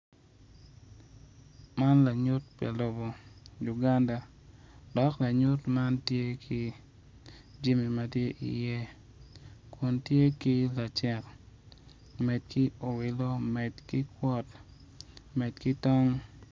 Man lanyut me lobo Uganda dok lanyut man tye ki jami ma tye i ye kun tye ki lacek med ki owelo med ki kwot.